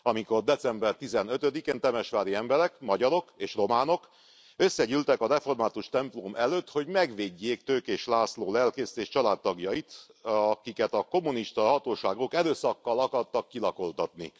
Amikor december 15 én temesvári emberek, magyarok és románok, összegyűltek a református templom előtt, hogy megvédjék Tőkés László lelkészt és családtagjait, akiket a kommunista hatóságok erőszakkal akartak kilakoltatni.